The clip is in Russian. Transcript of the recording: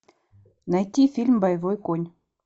найти фильм боевой конь